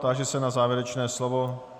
Táži se na závěrečné slovo.